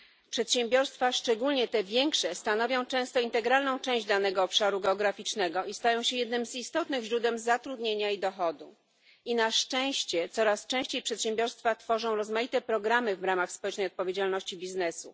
Przedsiębiorstwa, a szczególnie te większe, stanowią często integralną część danego obszaru geograficznego i stają się jednym z istotnych źródeł zatrudnienia i dochodu. Na szczęście coraz częściej przedsiębiorstwa tworzą rozmaite programy w ramach społecznej odpowiedzialności biznesu.